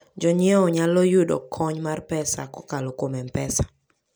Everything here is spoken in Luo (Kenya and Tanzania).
Jonyiewo nyalo yudo kony mar pesa kokalo kuom M-Pesa.